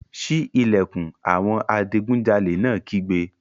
Sí ìlẹ̀kùn! Àwọn adigunjalè náà kígbe.